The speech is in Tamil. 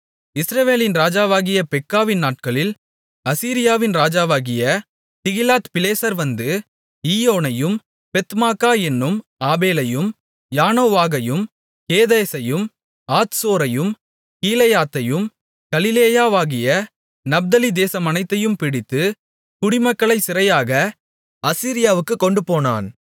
இஸ்ரவேலின் ராஜாவாகிய பெக்காவின் நாட்களில் அசீரியாவின் ராஜாவாகிய திகிலாத்பிலேசர் வந்து ஈயோனையும் பெத்மாக்கா என்னும் ஆபேலையும் யனோவாகையும் கேதேசையும் ஆத்சோரையும் கீலேயாத்தையும் கலிலேயாவாகிய நப்தலி தேசமனைத்தையும் பிடித்து குடிமக்களைச் சிறையாக அசீரியாவுக்குக் கொண்டுபோனான்